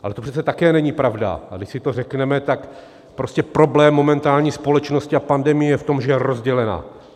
Ale to přece také není pravda, a když si to řekneme, tak prostě problém momentální společnosti a pandemie je v tom, že je rozdělena.